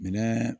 Minɛn